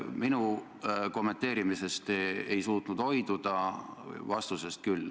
Minu kommenteerimisest te ei suutnud hoiduda, vastusest küll.